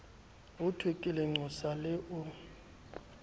hothwe ke lenqosa le o